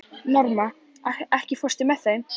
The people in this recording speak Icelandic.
Norma, ekki fórstu með þeim?